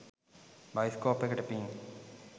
Bioscope එකට පින්.